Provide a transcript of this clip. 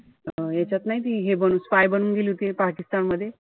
यांच्यात नाई ती हे बनून, spy बनून गेली होती पाकिस्तानमध्ये,